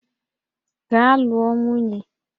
Gaa lụọ nwunye!